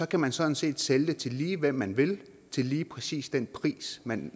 kan man sådan set sælge til lige hvem man vil til lige præcis den pris man